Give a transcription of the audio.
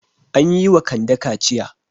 An yi wa Kande kaciya.